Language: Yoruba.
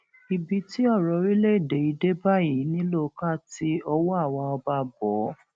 ibi tí ọrọ orílẹèdè yìí dé báyìí nílò ká ti ọwọ àwa ọba bọ ọ